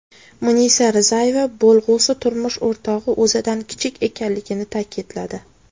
Munisa Rizayeva bo‘lg‘usi turmush o‘rtog‘i o‘zidan kichik ekanligini ta’kidladi.